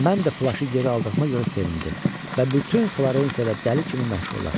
Mən də plaşı geri aldığıma görə sevindim və bütün Florensiyada dəli kimi məşhurlaşdım.